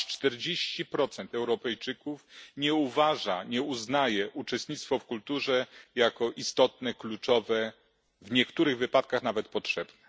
Aż 40 Europejczyków nie uznaje uczestnictwa w kulturze za istotne, kluczowe, w niektórych wypadkach nawet potrzebne.